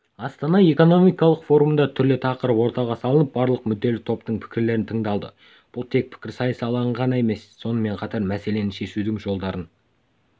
астана экономикалық форумында түрлі тақырып ортаға салынып барлық мүдделі топтың пікірлері тыңдалды бұл тек пікірсайыс алаңы ғана емес сонымен қатар мәселені шешудің жолдарын